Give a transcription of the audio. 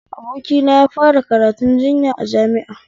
Abokina yafara karatun jinya a jami'a